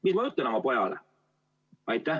Mis ma ütlen oma pojale?